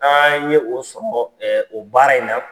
Aan' ye o sɔrɔ o baara in na.